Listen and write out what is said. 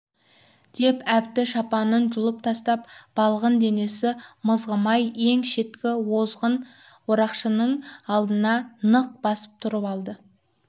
деп әбді шапанын жұлып тастап балғын денесі мызғымай ең шеткі озғын орақшының алдына нық басып тұрып алды